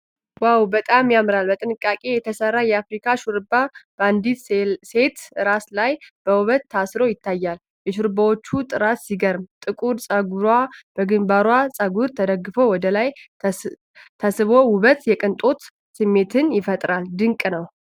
ዋው! በጣም ያምራል! በጥንቃቄ የተሰራ የአፍሪካ ሹሩባ በአንዲት ሴት ራስ ላይ በውበት ታስሮ ይታያል። የሹሩባዎቹ ጥራት ሲገርም፣ ጥቁር ፀጉሯ በግንባር ፀጉር ተደግፎ ወደ ላይ ተስቦ ውብ የቅንጦት ስሜት ፈጥሯል። ድንቅ ነው!